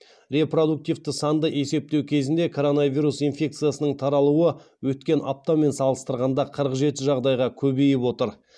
репродуктивті санды есептеу кезінде коронавирус инфекциясының таралуы өткен аптамен салыстырғанда қырық жеті жағдайға көбейіп отыр